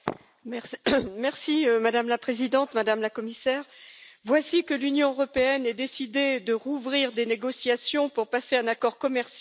Madame la Présidente, Madame la Commissaire, voici que l'Union européenne a décidé de rouvrir des négociations pour passer un accord commercial avec les États Unis.